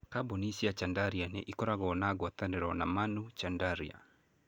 Kambuni cia Chandaria nĩ ikoragwo na ngwatanĩro na Manu Chandaria.